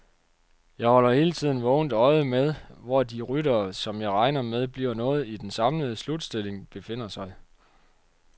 Jeg holder hele tiden vågent øje med, hvor de ryttere, som jeg regner med bliver noget i den samlede slutstilling, befinder sig.